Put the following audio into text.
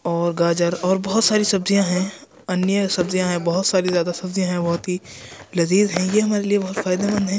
और गाजर और बहुत सारी सब्जियां हैं। अन्य सब्ज़ियां हैं बहुत सारी ज्यादा सब्ज़ियां हैं बहुत ही लजीज़ हैं ये हमारे लिए बहुत फायदेमंद हैं।